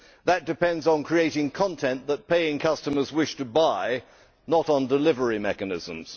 That depends on creating content that paying customers wish to buy, not on delivery mechanisms.